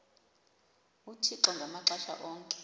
uthixo ngamaxesha onke